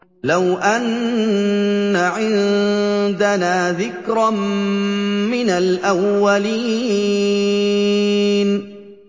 لَوْ أَنَّ عِندَنَا ذِكْرًا مِّنَ الْأَوَّلِينَ